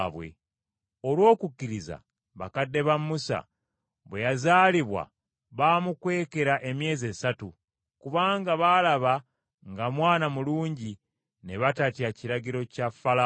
Olw’okukkiriza bakadde ba Musa bwe yazaalibwa baamukwekera emyezi esatu, kubanga baalaba nga mwana mulungi, ne batatya kiragiro kya Falaawo.